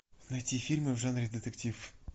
найти фильмы в жанре детектив